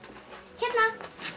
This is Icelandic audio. hérna